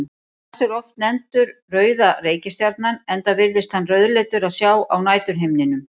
Mars er oft nefndur rauða reikistjarnan enda virðist hann rauðleitur að sjá á næturhimninum.